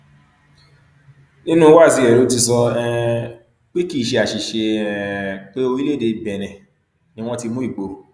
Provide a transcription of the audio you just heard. nínú wáàsí rẹ ló ti sọ um pé kì í ṣe àṣìṣe um pé orílẹèdè benin ni wọn ti mú ìgboro